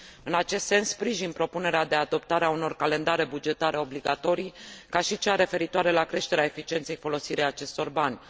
În acest sens, sprijin propunerea de adoptare a unor calendare bugetare obligatorii, ca și cea referitoare la creșterea eficienței în folosirea acestor bani.